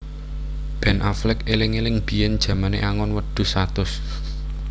Ben Affleck eling eling biyen jamane angon wedhus satus